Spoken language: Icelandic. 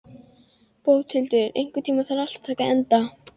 Bóthildur, einhvern tímann þarf allt að taka enda.